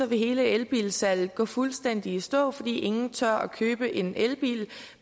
vil hele elbilsalget gå fuldstændig i stå for ingen tør købe en elbil